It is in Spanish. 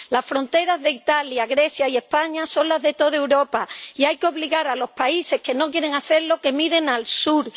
Las fronteras de Italia, Grecia y España son las de toda Europa, y hay que obligar a los países que no quieren hacerlo a que miren al sur.